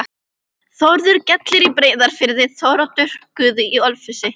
Þórður gellir í Breiðafirði, Þóroddur goði í Ölfusi.